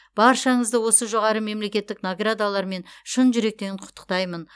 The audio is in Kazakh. баршаңызды осы жоғары мемлекеттік наградалармен шын жүректен құттықтаймын